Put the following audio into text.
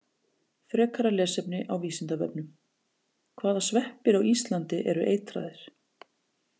Frekara lesefni á Vísindavefnum: Hvaða sveppir á Íslandi eru eitraðir?